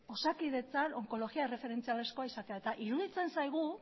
osakidetzan onkologia erreferentziala izatea eta iruditzen zaigu